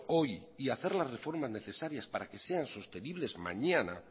hoy y hacer las reformas necesarias para que sean sostenibles mañana